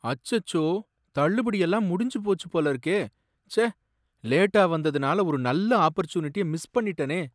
அச்சச்சோ! தள்ளுபடி எல்லாம் முடிஞ்சுபோச்சு போல இருக்கே! ச்சே, லேட்டா வந்ததுனால ஒரு நல்ல ஆப்பர்சுனிட்டிய மிஸ் பண்ணிட்டேனே!